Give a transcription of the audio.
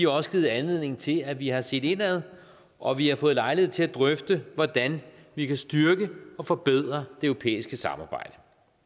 også givet anledning til at vi har set indad og vi har fået lejlighed til at drøfte hvordan vi kan styrke og forbedre det europæiske samarbejde